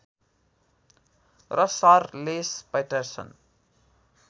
र sir Les Patterson